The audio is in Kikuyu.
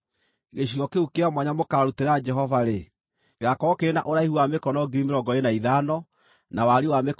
“Gĩcigo kĩu kĩa mwanya mũkaarutĩra Jehova-rĩ, gĩgaakorwo kĩrĩ na ũraihu wa mĩkono 25,000, na wariĩ wa mĩkono 10,000.